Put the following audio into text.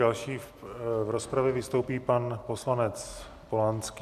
Další v rozpravě vystoupí pan poslanec Polanský.